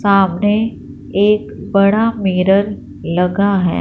सामने एक बड़ा मिरर लगा है।